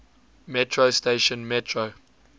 metro station metro